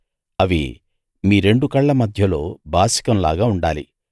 అవి మీ రెండు కళ్ళ మధ్యలో బాసికం లాగా ఉండాలి